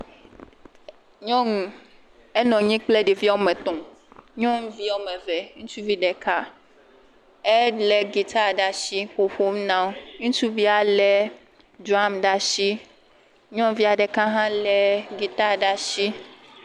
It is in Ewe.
Nyɔnu, enɔ nyi kple ɖevi ame etɔ̃. Nyɔnuvi wo ame eve ŋutsuvi ɖeka. Elé gita ɖa shi ƒɔƒom na wo. Ŋutsuvia lé ɖram ɖa shi. Nyɔnuvia ɖeka hã lé gita ɖa shi.